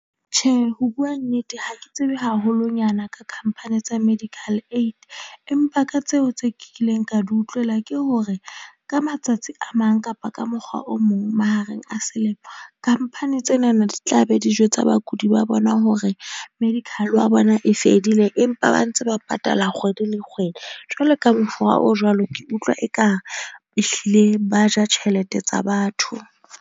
Tjhe, ho bua nnete ha ke tsebe haholonyana ka company tsa medical aid, empa ka tseo tse kileng ka di utlwela ke hore ka matsatsi a mang, kapa ka mokgwa o mong mahareng a selemo, company tsena na di tla be di jwetsa bakudi ba bona hore medical wa bona e fedile empa ba ntse ba patala kgwedi le kgwedi. Jwalo ka mokgwa o jwalo, ke utlwa ekare ehlile ba ja tjhelete tsa batho.